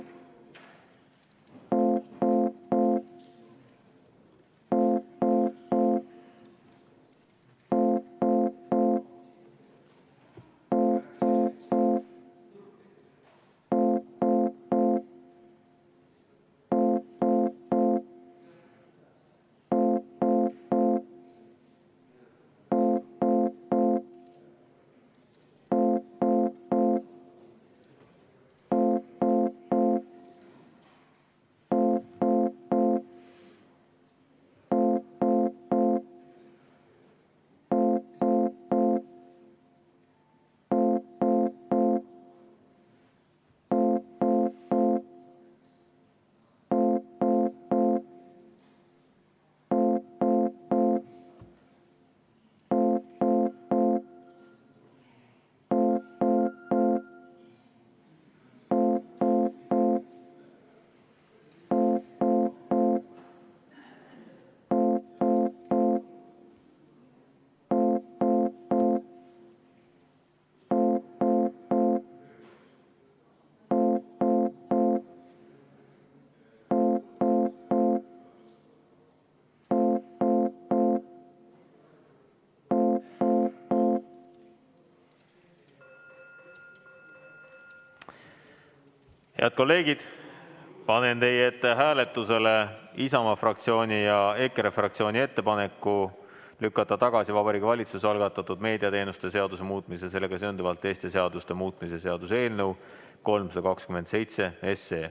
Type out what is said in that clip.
Head kolleegid, panen teie ette hääletusele Isamaa fraktsiooni ja EKRE fraktsiooni ettepaneku lükata tagasi Vabariigi Valitsuse algatatud meediateenuste seaduse muutmise ja sellega seonduvalt teiste seaduste muutmise seaduse eelnõu 327.